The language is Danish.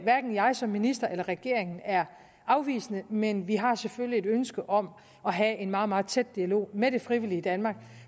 hverken jeg som minister eller regeringen er afvisende men vi har selvfølgelig et ønske om at have en meget meget tæt dialog med det frivillige danmark